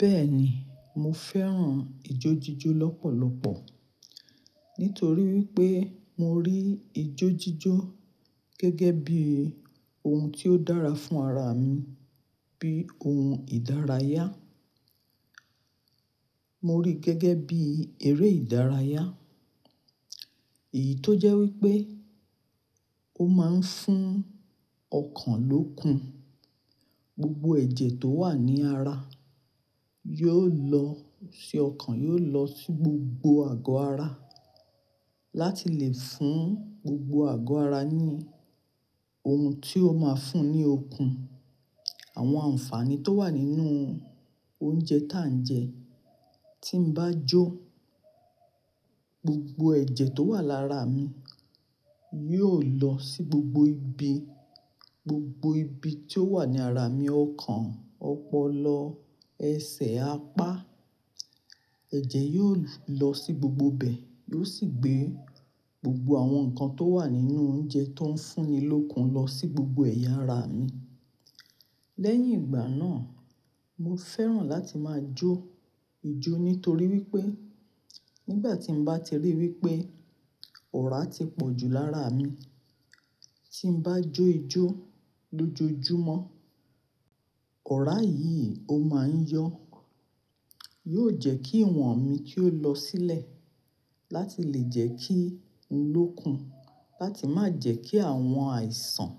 Bẹ́ẹ̀ni, mo fẹ́ràn ijójíjó lọ́pọ̀lọpọ̀ nítorí wípé mo rí ijójíjó gẹ́gẹ́ bí ohun tí ó dára fún ara mi, bí ohun ìdárayá. Mo rí gẹ́gẹ́ bí eré ìdárayá. Èyí tó jẹ́ wípé ó máa ń fún ọkàn lókun. Gbogbo ẹ̀jẹ̀ tó wà ní ara yóò lọ sí ọkàn, yóò lọ sí gbogbo àgọ́ ara láti lè fún gbogbo àgọ́ ara ní ohun tí ó máa ń fún ní okun. Àwọn àǹfààní tó wà nínú oúnjẹ tà ń jẹ, tí n bá jó, gbogbo ẹ̀jẹ̀ tó wà lára mi yóò lọ sí gbogbo ibi, gbogbo ibi tí ó wà ní ara mi, ọkàn, ọpọlọ, ẹsẹ̀, apá. Ẹ̀jẹ̀ yóò lọ sí gbogbo ibẹ̀, yóò sì gbé gbogbo àwọn nǹkan tó wà nínú oúnjẹ tó ń fún ni lókun lọ sí gbogbo ẹ̀yà ara mi. Lẹ́yìn ìgbà náà, mo fẹ́ràn láti máa jó ìjó nítorí wípé nígbà tí mo bá ti ríi wípé ọ̀rá ti pọ̀jù lára mi, tí n bá jó ìjó lójoojúmọ́, ọ̀rá yìí ó máa ń yọ. Yóò jẹ́ kí ìwọ̀n mi kí ó lọ sílẹ̀ láti lè jẹ́ kí n lókun, láti má jẹ́ kí àwọn àìsàn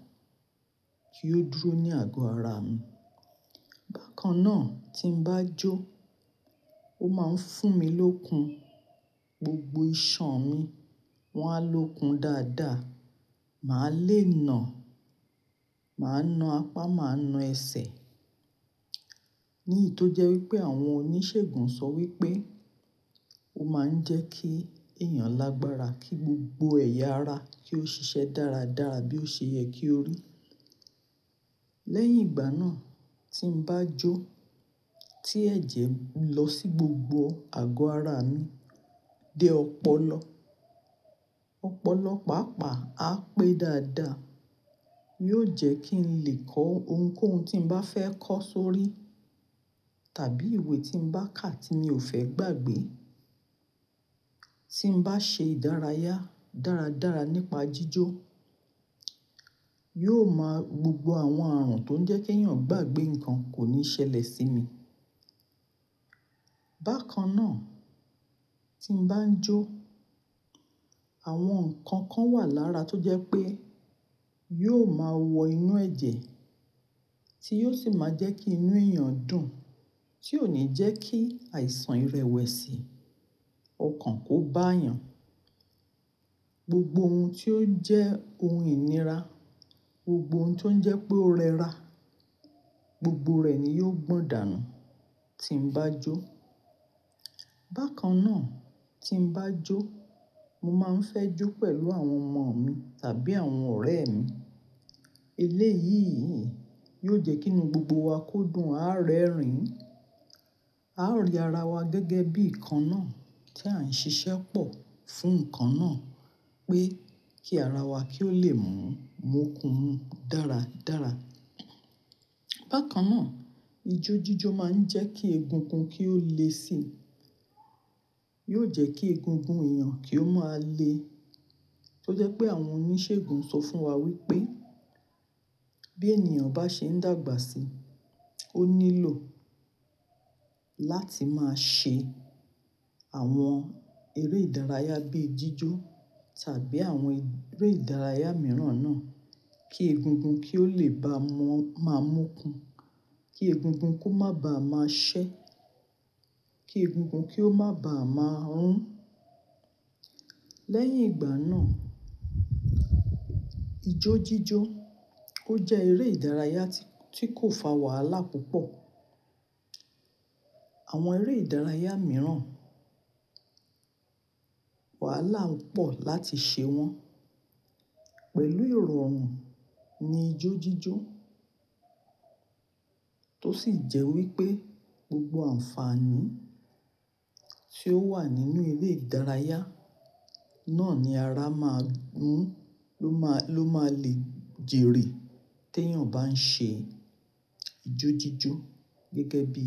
kí ó dúró ní àgọ́ ara mi. Bákan náà, tí n bá jó, ó máa ń fún mi lókun. Gbogbo iṣan mi, wọ́n á lókun dáadáa. Màá le nà, màá na apá, màá na ẹsẹ̀. Ní ìto jẹ́ wípé àwọn oníṣègùn sọ wípé ó máa ń jẹ́ kí èèyàn lágbára, kí gbogbo ẹ̀yà ara kí ó ṣiṣẹ́ dáradára bí ó ṣe yẹ kí ó rí. Lẹ́yìn ìgbà náà, tí n bá jó, tí ẹ̀jẹ̀ lọ sí gbogbo àgọ́ ara mi dé ọpọlọ, ọpọlọ pàápàá á pé dáadáa. Yóò jẹ́ kí n lè kọ ohunkóhun tí n bá fẹ́ kọ sórí tàbí ìwé tí n bá kà tí mi ò fẹ́ gbàgbé. Tí n bá ṣe ìdárayá dáradára nípa jíjó, yóò máa gbogbo àwọn ààrùn tó ń jẹ́ kí èèyàn gbàgbé nǹkan kò ní ṣẹlẹ̀ sí mi. Bákan náà, tí n bá ń jó, àwọn nǹkan kan wà lára tó jẹ́ pé yóò máa wọ inú ẹ̀jẹ̀ tí yóò sì máa jẹ́ kí inú èèyàn dùn, tí ò ní jẹ́ kí àìsàn irẹwẹ̀sì, ọkàn kó bá yàn. Gbogbo ohun tí ó jẹ́ ohun ìníra, gbogbo ohun tí ó ń jẹ́ pé ó rẹra, gbogbo rẹ̀ ni yóò gbọ̀ǹdànù tí n bá jó. Bákan náà, tí n bá jó, mo máa ń fẹ́ jó pẹ̀lú àwọn ọmọ mi tàbí àwọn ọ̀rẹ́ mi. Eléyìí yóò jẹ́ kí inú gbogbo wa kó dùn, á rẹ́rìn-ín, a ó rí ara wa gẹ́gẹ́ bí nǹkan náà tí à ń ṣiṣẹ́ pọ̀ fún nǹkan náà pé kí ara wa kí ó lè mú, mo kun dáradára. Bákan náà, ijójíjó máa ń jẹ́ kí egungun kí ó le si. Yóò jẹ́ kí egungun èèyàn kí ó máa le. Tó jẹ́ pé àwọn oníṣègùn sọ fún wa wípé bí ènìyàn bá ṣe ń dàgbà síi, ó nílò láti máa ṣe àwọn eré ìdárayá bíi jíjó tàbí àwọn eré ìdárayá mìíràn náà kí egungun kí ó lè bá mọ́ máa mo kun. Kí egungun kó má bá a máa ṣẹ́. Kí egungun kí ó má báa máa rún. Lẹ́yìn ìgbà náà, ijójíjó ó jẹ́ eré ìdárayá tí kò fa wàhálà púpọ̀. Àwọn eré ìdárayá mìíràn, wàhálà pọ̀ láti ṣe wọ́n. Pẹ̀lú iròrún ni ijójíjó tó sì jẹ́ wípé gbogbo àǹfààní tí ó wà nínú eré ìdárayá náà ni ara máa ń mú ló máa lè jèrè tèèyàn bá ń ṣe ijójíjó gẹ́gẹ́ bí.